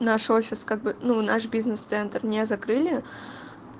наш офис как бы ну наш бизнес-центр не закрыли